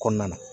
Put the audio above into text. Kɔnɔna na